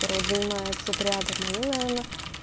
второй день маятся тут рядом мои наверное